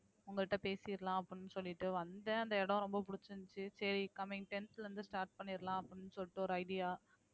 உங்கள்ட்ட பேசிறலாம் அப்படின்னு சொல்லிட்டு வந்தேன் அந்த இடம் ரொம்ப பிடிச்சிருந்துச்சு சரி coming tenth ல இருந்து start பண்ணிடலாம் அப்படின்னு சொல்லிட்டு ஒரு idea